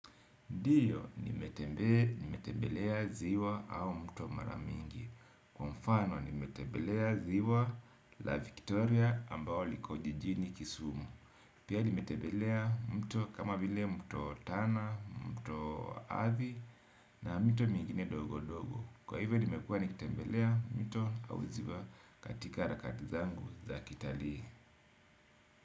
Ndiyo nimetembelea ziwa au mto mara mingi. Kwa mfano nimetembelea ziwa la Victoria ambao liko jijini kisumu. Pia nimetembelea mto kama vile mto Tana, mto athi na mito mingine dogo dogo. Kwa hivyo nimekua nikitembelea mto au ziwa katika harakati zangu za kitali.